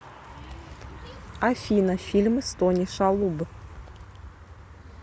афина фильмы с тони шалуб